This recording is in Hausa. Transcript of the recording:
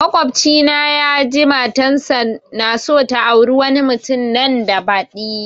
Makwabci na ya je matan sa naso ta aure wani mutum nan da badi